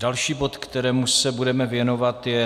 Další bod, kterému se budeme věnovat, je